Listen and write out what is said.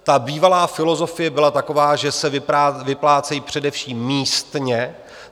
Ta bývalá filozofie byla taková, že se vyplácejí především místně.